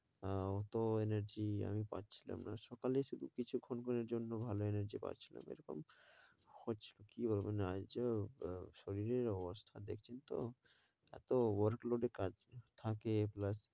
আহ অত energy আমি পাচ্ছিলাম না। সকালে শুধু কিছুক্ষণ ক্ষণের জন্য ভালো energy পাচ্ছিলাম এরকম হচ্ছিল। কী বলব আহ শরীরের অবস্থা দেখছেন তো, এত work load এ কাজ থাকে plus